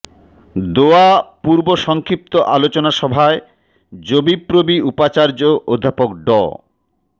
দোয়া পূর্ব সংক্ষিপ্ত আলোচনা সভায় যবিপ্রবি উপাচার্য অধ্যাপক ড